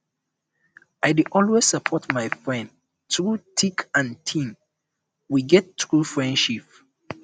i dey always support my friends through thick and thin we get true friendship